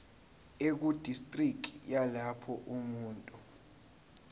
ekudistriki yalapho umuntu